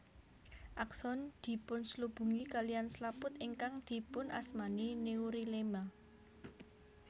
Akson dipunslubungi kaliyan slaput ingkang dipunasmani neurilema